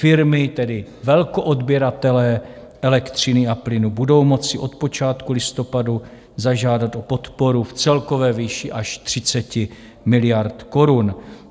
Firmy, tedy velkoodběratelé elektřiny a plynu, budou moci od počátku listopadu zažádat o podporu v celkové výši až 30 miliard korun.